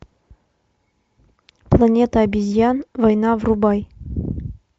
планета обезьян война врубай